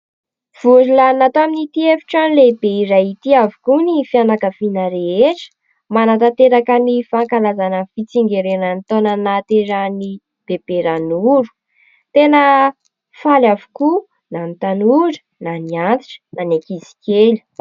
Vory lanona tao amin'ity efitrano lehibe iray ity avokoa ny fianakaviana rehetra ; manatanteraka ny fankalazana ny fitsingerenan'ny taona nahaterahan'i bebe Ranoro. Tena faly avokoa na ny tanora na ny antitra na ny ankizy kely.